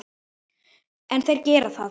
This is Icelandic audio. En þeir gera það.